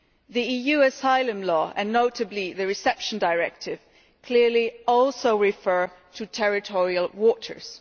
The EUʼs asylum law, and notably the Reception Directive, clearly also refers to territorial waters.